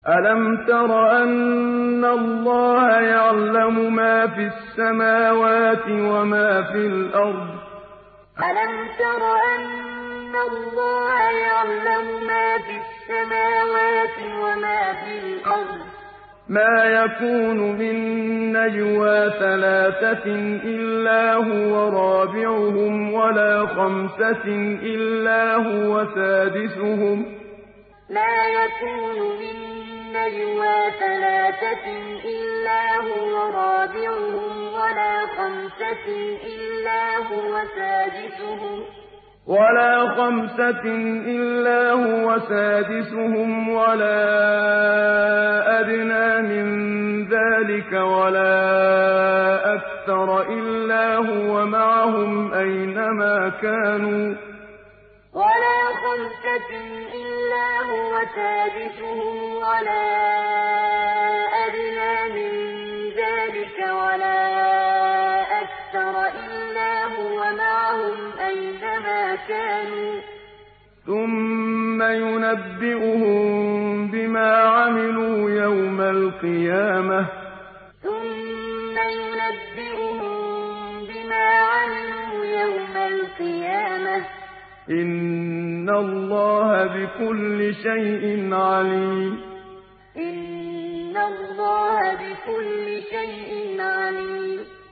أَلَمْ تَرَ أَنَّ اللَّهَ يَعْلَمُ مَا فِي السَّمَاوَاتِ وَمَا فِي الْأَرْضِ ۖ مَا يَكُونُ مِن نَّجْوَىٰ ثَلَاثَةٍ إِلَّا هُوَ رَابِعُهُمْ وَلَا خَمْسَةٍ إِلَّا هُوَ سَادِسُهُمْ وَلَا أَدْنَىٰ مِن ذَٰلِكَ وَلَا أَكْثَرَ إِلَّا هُوَ مَعَهُمْ أَيْنَ مَا كَانُوا ۖ ثُمَّ يُنَبِّئُهُم بِمَا عَمِلُوا يَوْمَ الْقِيَامَةِ ۚ إِنَّ اللَّهَ بِكُلِّ شَيْءٍ عَلِيمٌ أَلَمْ تَرَ أَنَّ اللَّهَ يَعْلَمُ مَا فِي السَّمَاوَاتِ وَمَا فِي الْأَرْضِ ۖ مَا يَكُونُ مِن نَّجْوَىٰ ثَلَاثَةٍ إِلَّا هُوَ رَابِعُهُمْ وَلَا خَمْسَةٍ إِلَّا هُوَ سَادِسُهُمْ وَلَا أَدْنَىٰ مِن ذَٰلِكَ وَلَا أَكْثَرَ إِلَّا هُوَ مَعَهُمْ أَيْنَ مَا كَانُوا ۖ ثُمَّ يُنَبِّئُهُم بِمَا عَمِلُوا يَوْمَ الْقِيَامَةِ ۚ إِنَّ اللَّهَ بِكُلِّ شَيْءٍ عَلِيمٌ